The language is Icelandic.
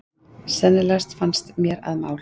Sennilegast fannst mér að mál